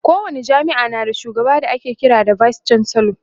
ko wani jami'a na da shugaba da ake kira da vice chancellor